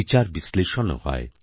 বিচারবিশ্লেষণও হয়